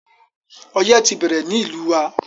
Ọyẹ́ ti ń bẹ̀rẹ̀ ní ìlú wa.